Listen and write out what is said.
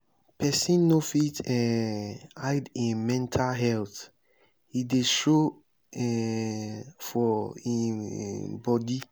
pesin no fit um hide im mental health e dey show um for um bodi.